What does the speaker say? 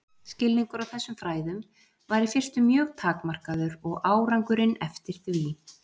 Skilningur á þessum fræðum var í fyrstu mjög takmarkaður og árangurinn eftir því.